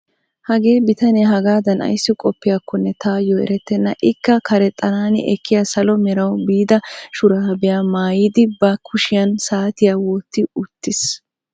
Hagee bitanee hagaadan ayssi qopiyaakone tayoo eretenna. ikka karexxanani ekkiyaa salo merawu biida shuraabiyaa maayidi ba kushshiyaan saatiyaa wotti uttiis.